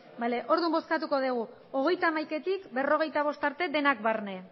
ez orduan bozkatuko dugu hogeita hamaikatik berrogeita bost arte denak barne